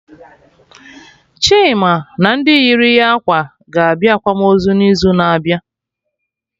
Chima na ndị yiri ya ákwà ga-abịa akwamozu n'izu na abịa